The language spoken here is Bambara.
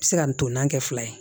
Se ka ntolan kɛ fila ye